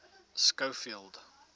schofield